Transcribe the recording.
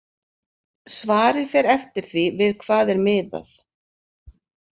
Svarið fer eftir því við hvað er miðað.